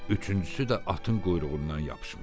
Üçüncüsü də atın quyruğundan yapışmışdı.